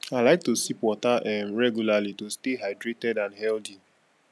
i like to sip water um regularly to stay hydrated and healthy